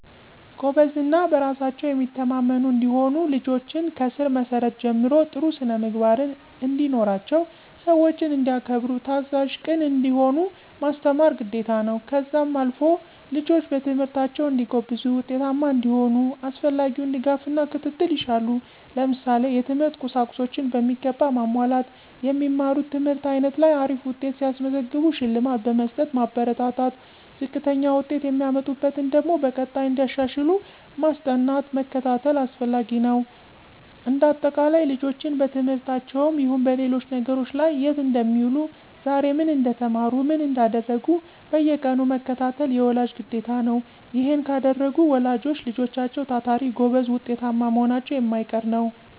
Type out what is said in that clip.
ጎበዝ እና በራሳቸው የሚተማመኑ እንዲሆኑ ልጆችን ከስር መሰረቱ ጀምሮ ጥሩ ስነምግባርን እንዲኖራቸው ሰዎችን እንዲያከብሩ ታዛዥ፣ ቅን እንዲሆኑ ማስተማር ግዴታ ነው። ከዛም አልፎ ልጆች በትምህርታቸው እንዲጎብዙ ውጤታማ እንዲሆኑ አስፈላጊውን ድጋፍና ክትትል ይሻሉ። ለምሳሌ፦ የትምህርት ቁሳቁሶችን በሚገባ ማሟላት። የሚማሩት ትምህርት አይነት ላይ አሪፍ ውጤት ሲያስመዘግቡ ሽልማት በመስጠት ማበረታታት፣ ዝቅተኛ ውጤት የሚያመጡበትን ደግሞ በቀጣይ እንዲያሻሽሉ ማስጠናት መከታተል አስፈላጊ ነው። እንደ አጠቃላይ ልጆችን በትምህርታቸውም ይሁን በሌሎች ነገሮች ላይ የት እንደሚውሉ ዛሬ ምን እንደተማሩ ምን እንዳደረጉ በየቀኑ መከታተል የወላጅ ግዴታ ነው። ይሔን ካደረጉ ወላጆች ልጆችም ታታሪ፣ ጎበዝ ውጤታማ መሆናቸው የማይቀር ነው።